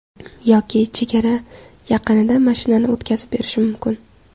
Yoki chegara yaqinida mashinani o‘tkazib berish mumkin.